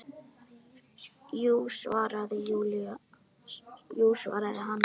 Jú svaraði hann.